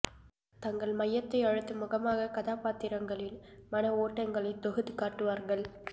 தங்கள் மையத்தை அழுத்தும் முகமாக கதாபாத்திரங்களின் மன ஓட்டங்களை தொகுத்துக் காட்டுவார்கள்